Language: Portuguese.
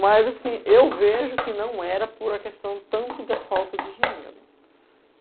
Mas assim eu vejo que não era por a questão tanto da falta de dinheiro.